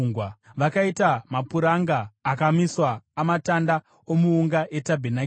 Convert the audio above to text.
Vakaita mapuranga akamiswa amatanda omuunga etabhenakeri.